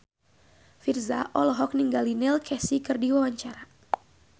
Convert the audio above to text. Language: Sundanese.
Virzha olohok ningali Neil Casey keur diwawancara